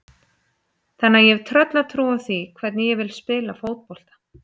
Þannig að ég hef tröllatrú á því hvernig ég vil spila fótbolta.